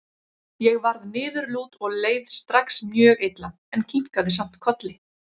Ég varð niðurlút og leið strax mjög illa, en kinkaði samt kolli.